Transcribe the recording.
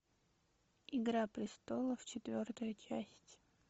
игра престолов четвертая часть